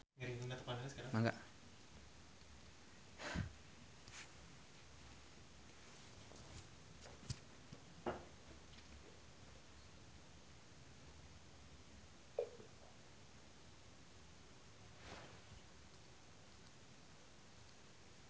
Aming jeung Foo Fighter keur dipoto ku wartawan